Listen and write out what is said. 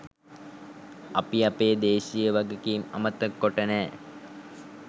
අපි අපේ දේශීය වගකීම් අමතක කොට නෑ.